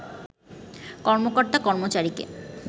কর্মকর্তা-কর্মচারিকে